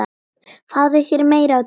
Fáðu þér meira á diskinn